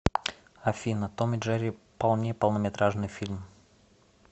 афина том и джери полне полнометражный фильм